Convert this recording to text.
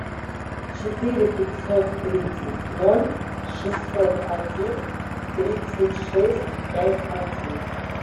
четыре пятьсот тридцать ноль шестьсот один тридцать шесть пять один